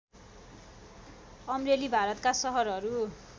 अमरेली भारतका सहरहरू